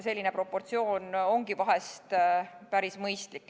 Selline proportsioon ongi vahest päris mõistlik.